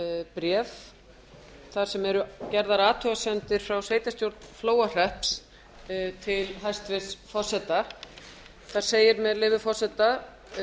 bréf þar sem eru gerðar athugasemdir frá sveitarstjórn flóahrepps til hæstvirts forseta þar segir með leyfi forseta